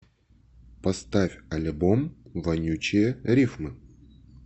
поставь альбом вонючие рифмы